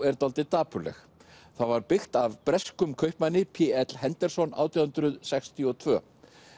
er dálítið dapurleg það var byggt af breskum kaupmanni p l henderson átján hundruð sextíu og tvö